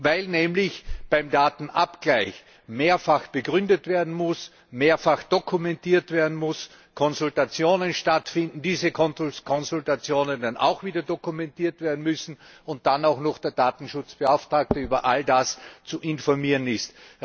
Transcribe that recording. Weil nämlich beim Datenabgleich mehrfach begründet werden muss, mehrfach dokumentiert werden muss, Konsultationen stattfinden, diese Konsultationen dann auch wieder dokumentiert werden müssen und dann auch noch der Datenschutzbeauftragte über all das zu informieren ist.